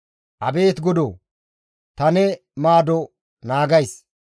«Abeet Godoo! Ta ne maado naagays.